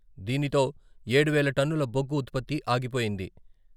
దీనితో ఏడు వేల టన్నుల బొగ్గు ఉత్పత్తి ఆగిపోయింది.